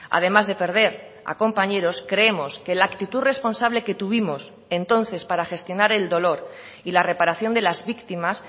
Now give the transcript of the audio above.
además de perder a compañeros creemos que la actitud responsable que tuvimos entonces para gestionar el dolor y la reparación de las víctimas